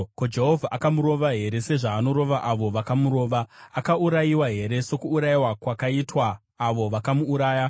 Ko, Jehovha akamurova here sezvaanorova avo vakamurova? Akaurayiwa here sokuurayiwa kwakaitwa avo vakamuuraya?